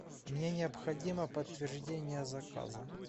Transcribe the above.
мне необходимо подтверждение заказа